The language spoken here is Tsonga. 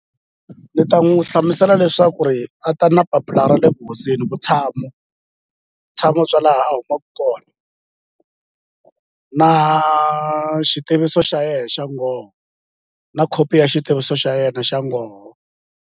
Ni ta n'wu hlamusela leswaku ri a ta na papila ra le vuhosini vutshamo vutshamo bya laha a humaku kona na xitiviso xa ye xa ngoho na khopi ya xitiviso xa yena xa ngoho.